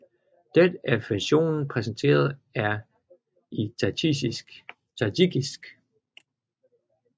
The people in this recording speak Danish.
Dette er versionen præsenteret her i Tadsjikisk